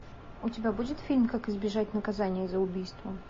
у тебя будет фильм как избежать наказания за убийство